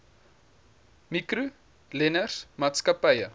mikro leners maatskappye